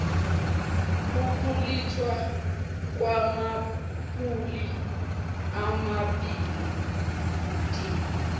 ukulethwa kwamapulani amabhilidi